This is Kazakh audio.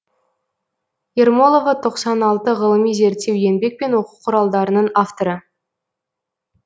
ермолова тоқсан алты ғылыми зерттеу еңбек пен оқу құралдарының авторы